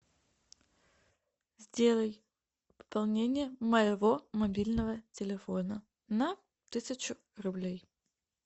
сделай пополнение моего мобильного телефона на тысячу рублей